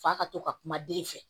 F'a ka to ka kuma den fɛ